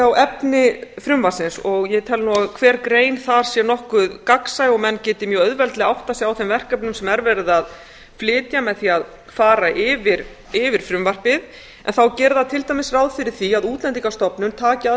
á efni frumvarpsins og ég tel nú að hver grein þar sé nokkuð gagnsæ og menn geti mjög auðveldlega áttað sig á þeim verkefnum sem er verið að flytja með því að fara yfir frumvarpið en þá gerir það til dæmis ráð fyrir því að útlendingastofnun taki að